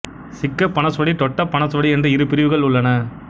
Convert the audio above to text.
சிக்க பனஸ்வடி டொட்ட பனஸ்வடி என்று இரு பிரிவுகள் உள்ளன